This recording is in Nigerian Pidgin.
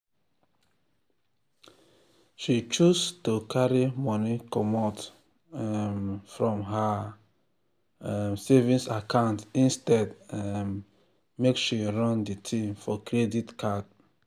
she choose to carry money comot um from her um savings account instead um make she run the thing for credit card.